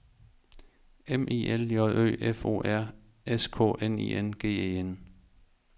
M I L J Ø F O R S K N I N G E N